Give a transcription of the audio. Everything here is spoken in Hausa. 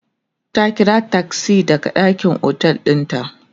ta ƙira taksi daga ɗakin otel ɗin ta